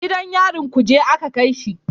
Gidan yarin kuje a ka kai shi